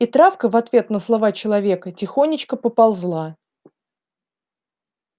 и травка в ответ на слова человека тихонечко поползла